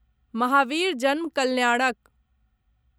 महावीर जन्म कल्याणक